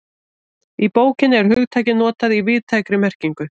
Í bókinni er hugtakið notað í víðtækri merkingu.